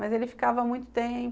Mas ele ficava muito tempo.